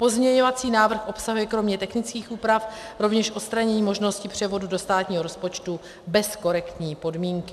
Pozměňovací návrh obsahuje kromě technických úprav rovněž odstranění možnosti převodu do státního rozpočtu bez korektní podmínky.